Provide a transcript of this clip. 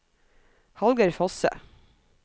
Hallgeir Fosse